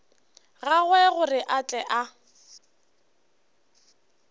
gagwe gore a tle a